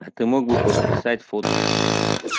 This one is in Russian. а ты мог бы подписать фото